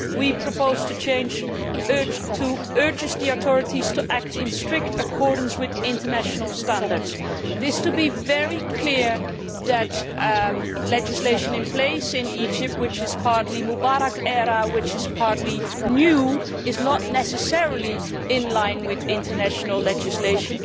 We propose to change this to urges the authorities to act in strict accordance with international standards', so as to be very clear that the legislation in place in Egypt, which is partly Mubarak era and partly new, is not necessarily in line with international legislation.